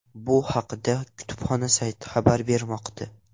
Bu haqda kutubxona sayti xabar bermoqda .